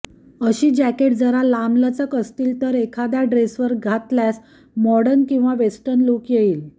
अशी जॅकेट जरा लांबलचक असतील तर एखाद्या ड्रेसवर घातल्यास मॉडर्न आणि वेस्टर्न लूक येईल